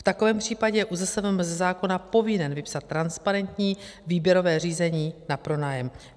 V takovém případě je ÚZSVM ze zákona povinen vypsat transparentní výběrové řízení na pronájem.